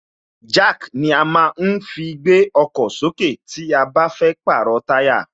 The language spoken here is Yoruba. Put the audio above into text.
Jack ni a má ń fi gbé ọkọ̀ sókè tí a bá fẹ́ jìrọ̀ táyà